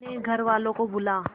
अपने घर वालों को बुला